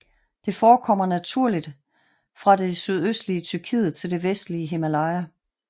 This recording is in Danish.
Det forekommer naturligt fra det sydøstlige Tyrkiet til det vestlige Himalaya